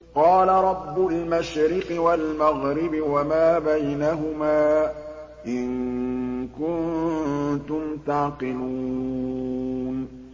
قَالَ رَبُّ الْمَشْرِقِ وَالْمَغْرِبِ وَمَا بَيْنَهُمَا ۖ إِن كُنتُمْ تَعْقِلُونَ